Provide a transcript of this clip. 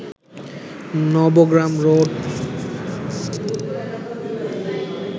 Nabagram road